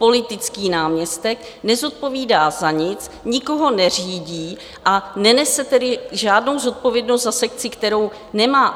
Politický náměstek nezodpovídá za nic, nikoho neřídí, a nenese tedy žádnou zodpovědnost za sekci, kterou nemá.